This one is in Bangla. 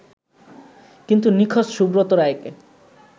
কিন্তু নিখোঁজ সুব্রত রায়কে